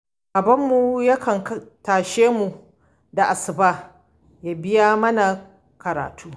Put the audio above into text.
Babbanmu ya kan tashe mu da asuba ya biya mana karatu.